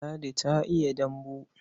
Ladi ta iya dambu.